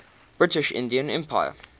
british indian empire